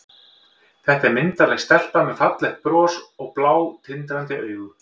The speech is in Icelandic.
Þetta er myndarleg stelpa með fallegt bros og blá, tindrandi augu.